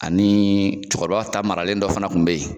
Ani cɛkɔrɔba ta maralen dɔ fana kun bɛ yen